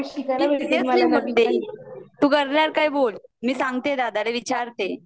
seriously बोलतेय, तू करणार काय बोल मी सांगते दादाला विचारते